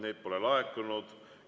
Neid ei ole laekunud.